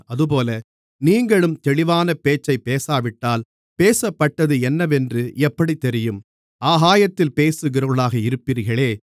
அதுபோல நீங்களும் தெளிவான பேச்சைப் பேசாவிட்டால் பேசப்பட்டது என்னவென்று எப்படித் தெரியும் ஆகாயத்தில் பேசுகிறவர்களாக இருப்பீர்களே